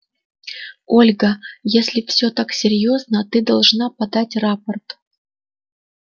ольга если все так серьёзно ты должна подать рапорт